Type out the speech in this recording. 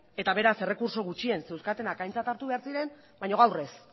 eta beraz errekurtso gutxien zeuzkatenak aintzat hartu behar ziren baina gaur ez